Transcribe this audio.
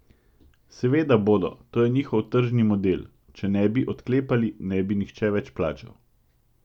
Seveda bodo, to je njihov tržni model, če ne bi odklepali, ne bi nihče več plačal.